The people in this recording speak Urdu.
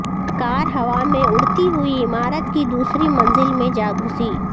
کار ہوا میں اڑتی ہوئی عمارت کی دوسری منزل میں جا گھسی